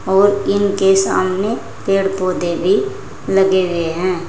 और इनके समाने पेड़ पौधे भी लगे हुए हैं।